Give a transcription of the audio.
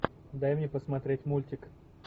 дай мне посмотреть мультик